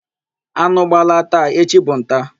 Anụ gbalaa taa, echi bụ nta.